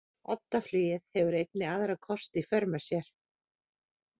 Oddaflugið hefur einnig aðra kosti í för með sér.